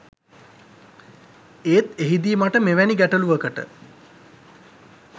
ඒත් එහිදී මට මෙවැනි ගැටලුවකට